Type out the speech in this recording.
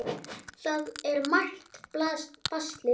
Það er margt baslið.